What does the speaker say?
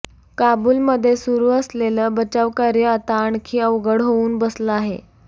काबूलमध्ये सुरू असलेलं बचावकार्य आता आणखी अवघड होऊन बसलं आहे